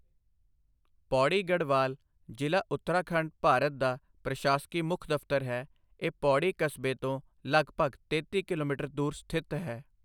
ਪੌੜੀ ਗੜ੍ਹਵਾਲ ਜ਼ਿਲ੍ਹਾ, ਉੱਤਰਾਖੰਡ, ਭਾਰਤ ਦਾ ਪ੍ਰਸ਼ਾਸਕੀ ਮੁੱਖ ਦਫ਼ਤਰ ਹੈ, ਇਹ ਪੌੜੀ ਕਸਬੇ ਤੋਂ ਲਗਭਗ ਤੇਤੀ ਕਿਲੋਮੀਟਰ ਦੂਰ ਸਥਿਤ ਹੈ।